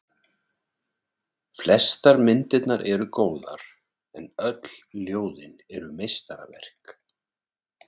Flestar myndirnar eru góðar, en öll ljóðin eru meistaraverk.